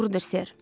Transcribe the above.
Doğrudur, ser.